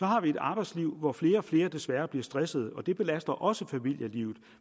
har et arbejdsliv hvor flere og flere desværre bliver stressede og det belaster også familielivet